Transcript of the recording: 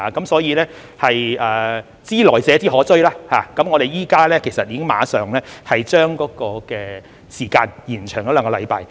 所以，"知來者之可追"，我們已經馬上將時間延長兩星期。